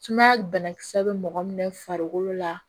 Sumaya banakisɛ bɛ mɔgɔ minɛ farikolo la